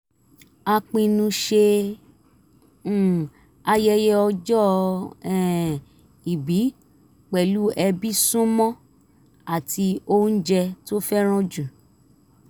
a pinnu ṣe um ayẹyẹ ọjọ́ um ìbí pẹ̀lú ẹbí súnmọ́ àti oúnjẹ tó fẹ́ràn jù